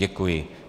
Děkuji.